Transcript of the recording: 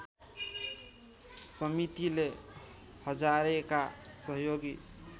समितिले हजारेका सहयोगी